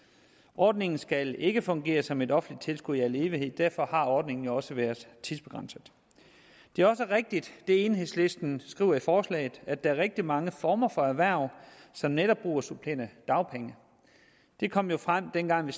ordningen skal ikke fungere som et offentligt tilskud i al evighed og derfor har ordningen jo også været tidsbegrænset det enhedslisten skriver i forslaget at der er rigtig mange former for erhverv som netop bruger supplerende dagpenge det kom jo frem dengang vi